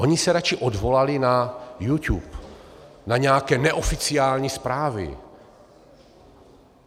Oni se raději odvolali na YouTube, na nějaké neoficiální zprávy.